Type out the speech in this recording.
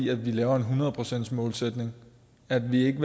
at vi laver en hundredeprocentsmålsætning at vi ikke